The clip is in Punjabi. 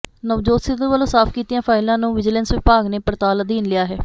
ਨਵਜੋਤ ਸਿੱਧੂ ਵੱਲੋਂ ਸਾਫ਼ ਕੀਤੀਆਂ ਫਾਈਲਾਂ ਨੂੰ ਵਿਜੀਲੈਂਸ ਵਿਭਾਗ ਨੇ ਪੜਤਾਲ ਅਧੀਨ ਲਿਆ ਹੈ